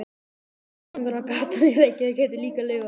Verslunargatan í Reykjavík heitir líka Laugavegur.